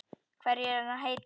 Hverju er hann að heita?